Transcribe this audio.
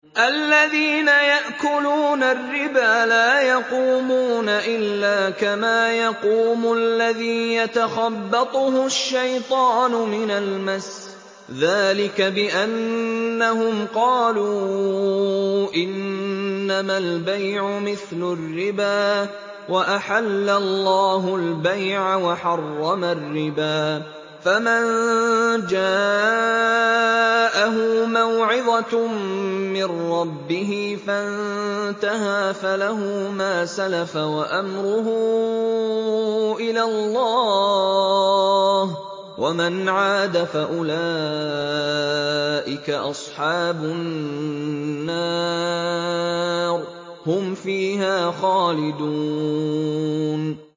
الَّذِينَ يَأْكُلُونَ الرِّبَا لَا يَقُومُونَ إِلَّا كَمَا يَقُومُ الَّذِي يَتَخَبَّطُهُ الشَّيْطَانُ مِنَ الْمَسِّ ۚ ذَٰلِكَ بِأَنَّهُمْ قَالُوا إِنَّمَا الْبَيْعُ مِثْلُ الرِّبَا ۗ وَأَحَلَّ اللَّهُ الْبَيْعَ وَحَرَّمَ الرِّبَا ۚ فَمَن جَاءَهُ مَوْعِظَةٌ مِّن رَّبِّهِ فَانتَهَىٰ فَلَهُ مَا سَلَفَ وَأَمْرُهُ إِلَى اللَّهِ ۖ وَمَنْ عَادَ فَأُولَٰئِكَ أَصْحَابُ النَّارِ ۖ هُمْ فِيهَا خَالِدُونَ